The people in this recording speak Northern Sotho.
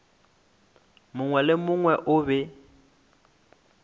mongwe le mongwe o be